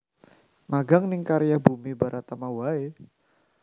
Magang ning Karya Bumi Baratama wae